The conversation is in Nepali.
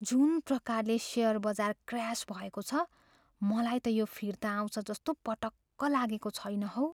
जुन प्रकारले सेयर बजार क्र्यास भएको छ, मलाई त यो फिर्ता आउँछ जस्तो पटक्क लागेको छैन हौ।